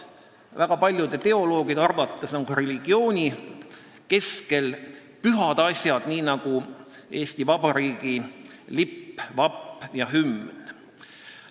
Väga paljude teoloogide arvates on ka religiooni keskmes pühad asjad, nii nagu on pühad Eesti Vabariigi lipp, vapp ja hümn.